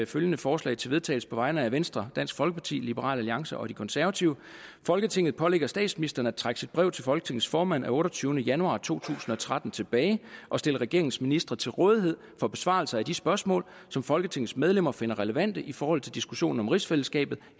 følgende forslag til vedtagelse på vegne af venstre dansk folkeparti liberal alliance og det konservative folketinget pålægger statsministeren at trække sit brev til folketingets formand af otteogtyvende januar to tusind og tretten tilbage og stille regeringens ministre til rådighed for besvarelse af de spørgsmål som folketingets medlemmer finder relevante i forhold til diskussionen om rigsfællesskabet